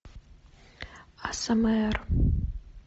асмр